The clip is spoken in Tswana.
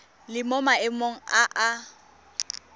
le mo maemong a a